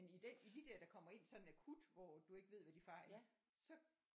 Men i den i de der der kommer ind sådan akut hvor du ikke ved hvad de fejler så